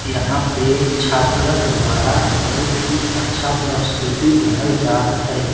यहाँ पे छात्रक द्वारा बहुत ही अच्छा प्रस्तुति देहल जात है।